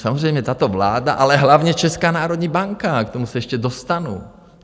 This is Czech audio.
Samozřejmě tato vláda, ale hlavně Česká národní banka - k tomu se ještě dostanu.